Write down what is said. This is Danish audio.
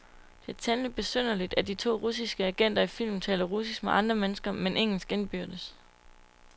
Det er temmeligt besynderligt, at de to russiske agenter i filmen taler russisk med andre mennesker, men engelsk indbyrdes.